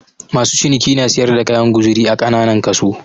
Masu ciniki na siyar da kayan guzuri a kananan kaso.